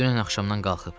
dünən axşamdan qalxıb.